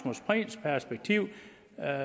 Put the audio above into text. er